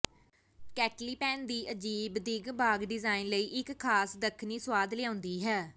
ਕੈਟੇਲੀਪੈਨ ਦੀ ਅਜੀਬ ਦਿੱਖ ਬਾਗ਼ ਡਿਜ਼ਾਈਨ ਲਈ ਇਕ ਖ਼ਾਸ ਦੱਖਣੀ ਸੁਆਦ ਲਿਆਉਂਦੀ ਹੈ